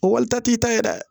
O walita t'i ta ye dɛ